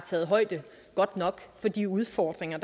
udfordringer